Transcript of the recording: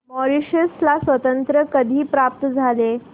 Mauritius ला स्वातंत्र्य कधी प्राप्त झाले